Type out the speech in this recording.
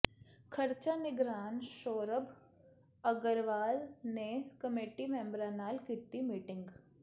ਖਰਚਾ ਨਿਗਰਾਨ ਸੋਰਭ ਅੱਗਰਵਾਲ ਨੇ ਕਮੇਟੀ ਮੈਂਬਰਾਂ ਨਾਲ ਕੀਤੀ ਮੀਟਿੰਗ